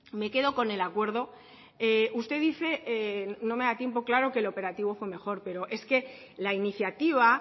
me quedo con el acuerdo usted dice no me da tiempo claro que el operativo fue mejor pero es que la iniciativa